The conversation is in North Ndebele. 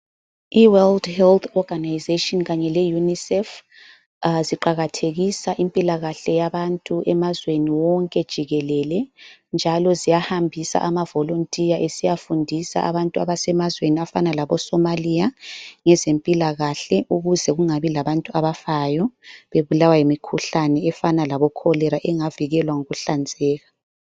IWorld Health Organization kanye leUnicef ziqakathekisa impilakahle yabantu emazweni wonke jikelele njalo ziyahambisa amaVolonteer esiyafundisa abantu abasemazweni afana laboSomalia ngezempilakahle ukuze kungabi labantu abafayo bebulawa yimikhuhlane efana laboCholera engavikelwa ngokuhlanzeka.